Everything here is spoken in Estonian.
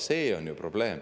See on ju probleem.